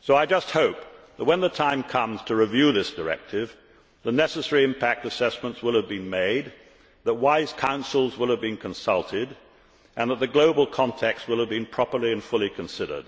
So I just hope that, when the time comes to review this directive, the necessary impact assessments will have been made, that wise counsels will have been consulted, that the global context will have been properly and fully considered